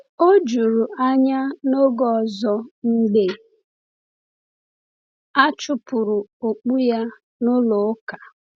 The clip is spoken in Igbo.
O jụrụ anya n’oge ọzọ mgbe a chụpụrụ okpu ya n’ụlọ ụka.